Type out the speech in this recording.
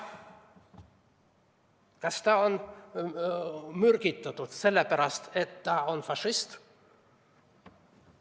Aga kas teda mürgitati sellepärast, et ta on fašist?